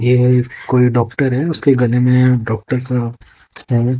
ये कोई डॉक्टर हैं उसके गले में डॉक्टर का --